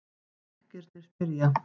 Bekkirnir spyrja!